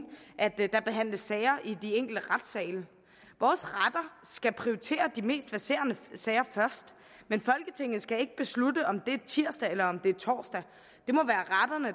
der behandles sager i de enkelte retssale vores retter skal prioritere de mest presserende sager først men folketinget skal ikke beslutte om det er tirsdag eller torsdag